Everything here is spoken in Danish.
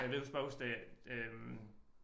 Og ved huske bare huske det øh